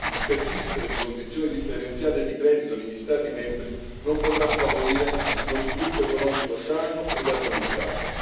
Il persistere di condizioni differenziate di credito negli Stati membri non potrà favorire uno sviluppo economico sano ed armonizzato.